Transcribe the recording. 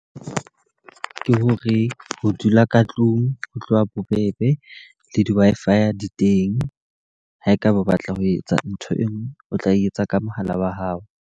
Ke hore ho dula ka tlung ho tloha bobebe le di-Wi-Fi di teng. Ha e ka ba o batla ho etsa ntho e nngwe o tla e etsa ka mohala wa hao.